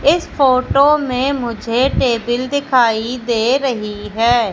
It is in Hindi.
इस फोटो में मुझे टेबिल दिखाई दे रही है।